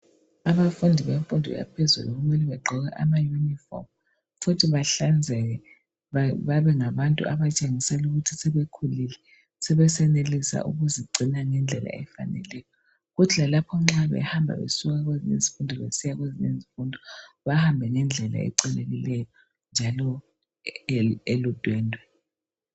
Abafundi bemfundo yaphezulu kumele bagqoke ama yunifomu futhi bahlanzeke babengabantu abatshengisela ukuthi sebekhulile sebesenelisa ukuzigcina ngendlela efaneleyo. Kuthi lalapho nxa behamba besuka kwezinye izifundo besiya kwezinye izifundo bahambe ngendlela ehlelekileyo njalo eludwendwe.